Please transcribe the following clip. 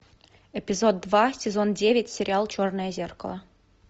эпизод два сезон девять сериал черное зеркало